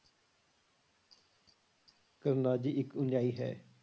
ਕਰਨਾਜੀ ਇੱਕ ਅਨੁਯਾਈ ਹੈ।